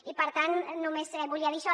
i per tant només volia dir això